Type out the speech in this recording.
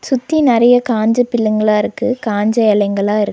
சுத்தி நெறைய காஞ்ச பில்லுங்களா இருக்கு காஞ்ச இலைங்களா இருக்கு.